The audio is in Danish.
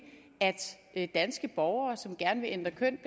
at danske borgere som gerne vil ændre køn